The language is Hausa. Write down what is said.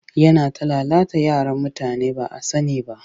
Yana ta lalata yaran mutane ba a sani ba